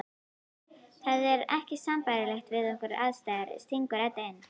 Það er ekki sambærilegt við okkar aðstæður, stingur Edda inn.